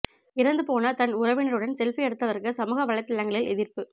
இறந்து போன தன் உறவினருடன் செல்பி எடுத்தவருக்கு சமூக வலைதளங்களில் எதிர்ப்பு